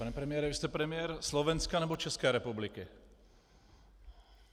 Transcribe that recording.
Pane premiére, vy jste premiér Slovenska, nebo České republiky?